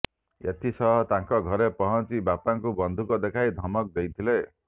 ଏଥିସହ ତାଙ୍କ ଘରେ ପହଞ୍ଚି ବାପାଙ୍କୁ ବନ୍ଧୁକ ଦେଖାଇ ଧମକ ଦେଇଥିଲେ